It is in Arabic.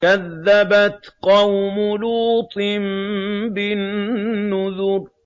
كَذَّبَتْ قَوْمُ لُوطٍ بِالنُّذُرِ